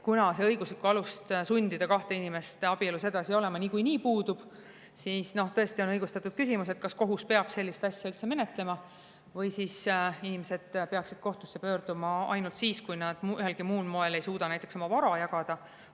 Kuna õiguslik alus sundida kahte inimest abielus edasi olema niikuinii puudub, siis on õigustatud küsimus, kas kohus peab sellist asja üldse menetlema või peaksid inimesed kohtusse pöörduma ainult siis, kui nad näiteks ühelgi muul moel ei suuda oma vara jagada.